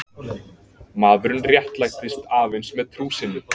Maðurinn réttlætist aðeins með trú sinni.